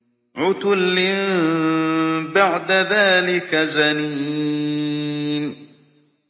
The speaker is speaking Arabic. عُتُلٍّ بَعْدَ ذَٰلِكَ زَنِيمٍ